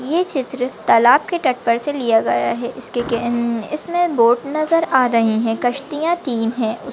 ए चित्र तलाब के टप परसे लिया गया है। इसके केन इसने बोट नज़र आ रही है। कश्तीया तीन है।